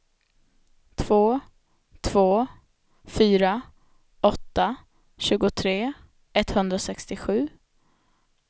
två två fyra åtta tjugotre etthundrasextiosju